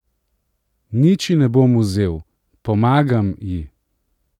Nič ji ne bom vzel, pomagam ji!